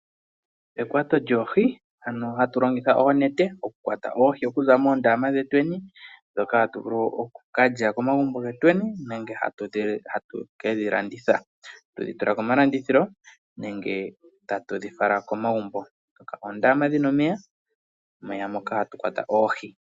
Ekwato lyoohi, ano hatu longitha oonete okukwata oohi okuza moondama dhetweni, ndhoka hatu vulu okuka lya komagumbo getweni nenge hatu ke dhi landitha, tu dhi tule komalandithilo nenge tatu dhi fala komagumbo. Oondama dhi na omeya moka tatu kwata oohi.